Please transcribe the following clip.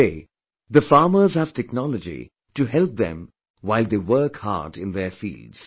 Today, the farmers have technology to help them while they work hard in their fields